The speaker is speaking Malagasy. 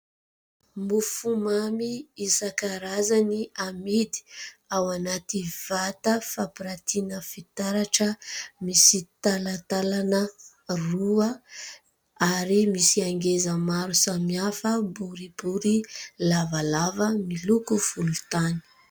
Mofomamy isankarazany amidy ao anaty vata fampiratina fitaratra, misy talatalana roa ary misy angeza maro samy hafa boribory, lavalava, miloko volontany.